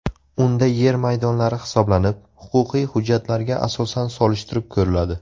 Unda yer maydonlari hisoblanib, huquqiy hujjatlarga asosan solishtirib ko‘riladi.